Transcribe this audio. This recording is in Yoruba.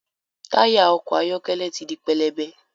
Taya ọkọ ayọkẹlẹ tí dì pẹlẹbẹ